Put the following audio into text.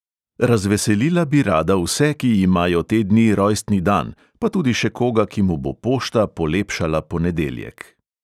Razveselila bi rada vse, ki imajo te dni rojstni dan, pa tudi še koga, ki mu bo pošta polepšala ponedeljek.